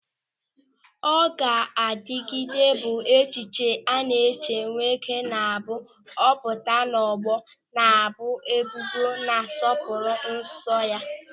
Ọgadagidi bụ echichi a na-echi nwoke na-abụ ọ pụta n'ọgbọ na-ebu ebube na nsọpụrụ eso ya.